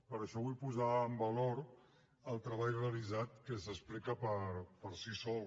per això vull posar en valor el treball realitzat que s’explica per si sol